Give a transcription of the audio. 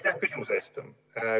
Aitäh küsimuse eest!